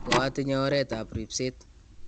koatinye oretab ribset